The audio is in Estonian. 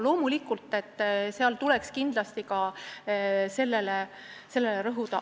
Loomulikult, kindlasti tuleks ka sellele rõhuda.